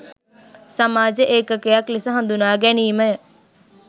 සමාජ ඒකකයක් ලෙස හඳුනා ගැනීමය